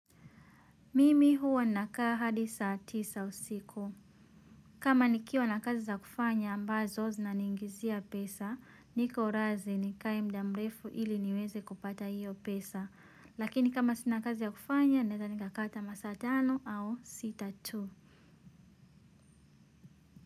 Mimi huwa na kaa hadi saa tisa usiku. Kama nikiwa na kazi za kufanya ambazo zina ningizia pesa, niko razi ni kae muda mrefu ili niweze kupata hiyo pesa. Lakini kama sina kazi ya kufanya, naeza nikakaa ata masaa tano au sita tu.